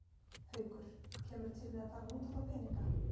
Haukur: Kemurðu til með að fara að nota þá peninga?